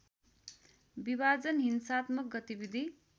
विभाजन हिंसात्मक गतिविधि